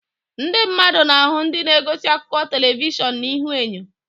Ndị mmadụ na-ahụ ndị na-egosi akụkọ telivishọn na ihuenyo.